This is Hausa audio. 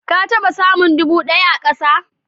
Ka taɓa samun dubu daya a kasa?